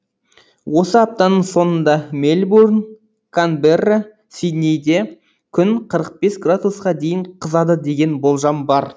осы аптаның соңында мельбурн канберра сиднейде күн қырық бес градусқа дейін қызады деген болжам бар